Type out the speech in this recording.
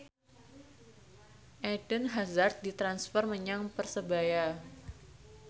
Eden Hazard ditransfer menyang Persebaya